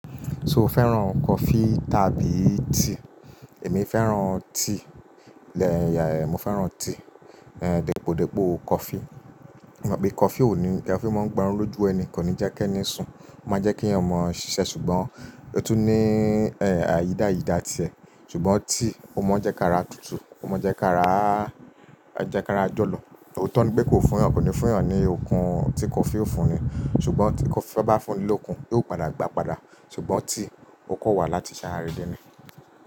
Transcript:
So o fẹ́ràn coffee tàbí tea? Èmi fẹ́ràn tea. Ehn, mo fẹ́ràn tea. Ehn, dípòdípò coffee. E mọ̀ pé coffee ò ní, coffee máa ń gba oró ojú ẹni, kò ní jẹ́ kí ẹni sùn. Ó máa jẹ́ kí ẹ̀yàn mọ ṣiṣẹ́ ṣùgbọ́n ó tún ní eh àyídáyídà ti ẹ. Ṣùgbọ́n tea, ó mọ jẹ́ká ra tútù, ó mọ jẹ́ká ra, ẹ jẹ́ká ra jọ̀lọ̀. Òótọ́ ni pé kò fún ẹ̀yàn, kò ní fún ẹ̀yàn ní okun tí coffee o fún ni. Ṣùgbọ́n tí coffee bá fún ni lókun, yóò padà gbà padà. Ṣùgbọ́n tea, o kò wà láti ṣàràrí dé ni.